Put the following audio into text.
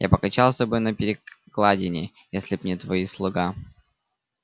а покачался бы на перекладине если б не твой слуга